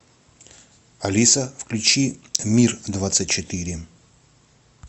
алиса включи мир двадцать четыре